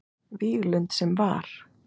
Víglund sem var.